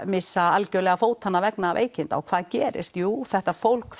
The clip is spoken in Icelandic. missa algjörlega vegna veikinda og hvað gerist jú þetta fólk